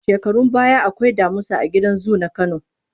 Shekarun baya akwai damusa a gidan zu na Kano.